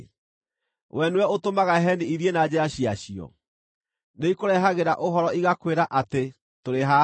Wee nĩwe ũtũmaga heni ithiĩ na njĩra ciacio? Nĩikũrehagĩra ũhoro igakwĩra atĩ, ‘Tũrĩ haha’?